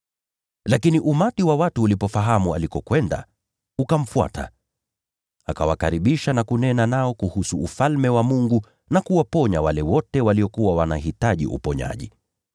Lakini umati wa watu ukafahamu alikokwenda, ukamfuata. Akawakaribisha na kunena nao kuhusu Ufalme wa Mungu na kuwaponya wale wote waliokuwa wanahitaji uponyaji.